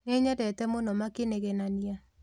Nĩnyendete mũno makĩnegenania